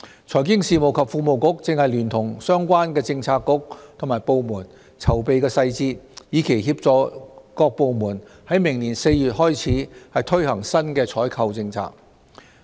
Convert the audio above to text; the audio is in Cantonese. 財經事務及庫務局正聯同相關政策局及部門籌備細節，以期協助各部門自明年4月起推行新的採購政策。